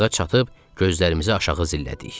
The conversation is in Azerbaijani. Yarığa çatıb gözlərimizi aşağı zillədik.